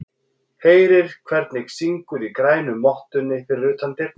Heyrir hvernig syngur í grænu mottunni fyrir utan dyrnar.